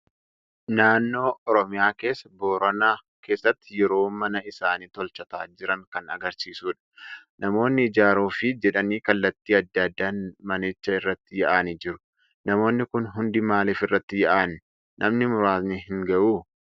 Naannoo Oromiyaa keessaa Boorana keessatti yeroo mana isaanii tolchataa jiran kan agarsiisudha. Namoonni ijaaruuf jedhanii kallattii adda addaan manicha irratti yaa'anii jiru. Namoonni Kun hundi maalif irratti yaa'an? Namni muraasni hin ga'uu?